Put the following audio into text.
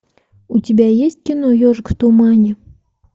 у тебя есть кино ежик в тумане